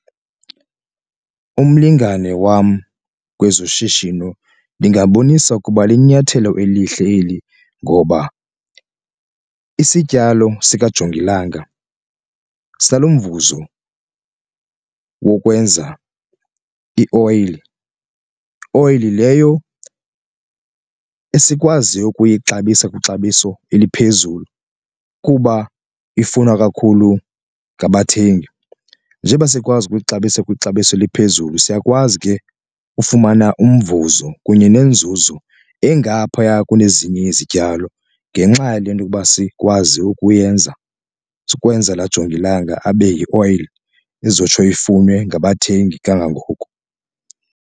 Umlingane wam kwezoshishino ndingambonisa ukuba linyathelo elihle eli ngoba isityalo sika jongilanga umvuzo wokwenza ioyile, oyile leyo esikwaziyo ukuyixabisa kwixabiso eliphezulu kuba ifunwa kakhulu ngabathengi. Njeba sikwazi ukuyixabisa kwixabiso eliphezulu siyakwazi ke ufumana umvuzo kunye nenzuzo engaphaya kunezinye izityalo ngenxa yale nto yokuba sikwazi ukuyenza sikwenza ujongilanga abe yioyile izotsho ifunwe ngabathengi kangangoko.